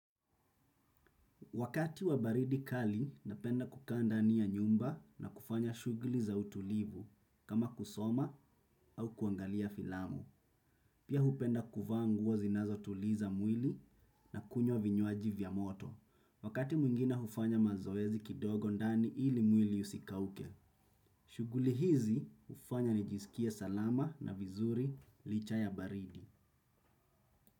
Wakati wa baridi kali napenda kukaa ndani ya nyumba na kufanya shughuli za utulivu kama kusoma au kwangalia filamu. Pia hupenda kuvaa nguo zinazo tuliza mwili na kunywa vinywaji vya moto. Wakati mwingine hufanya mazoezi kidogo ndani ili mwili usikauke. Shughuli hizi hufanya nijiskie salama na vizuri licha ya baridi.